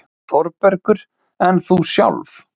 ÞÓRBERGUR: En þú sjálf?